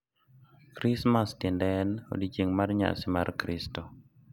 Krismas tiende en “Odiechieng’ mar Nyasi mar Kristo”.